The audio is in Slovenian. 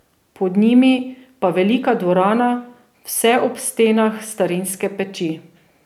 Pod njimi pa velika dvorana, vse ob stenah starinske peči.